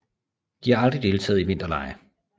De har aldrig deltagt i vinterlege